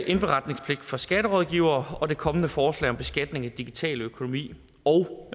indberetningspligt for skatterådgivere det kommende forslag om beskatning af digital økonomi og